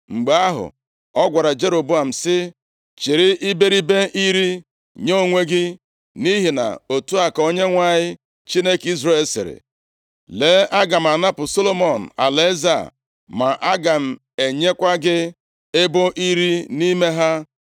Mgbe ahụ, ọ gwara Jeroboam sị, “Chịrị iberibe iri nye onwe gị, nʼihi na otu a ka Onyenwe anyị, Chineke Izrel sịrị, ‘Lee, aga m anapụ Solomọn alaeze a, ma aga m enyekwa gị ebo iri nʼime ha.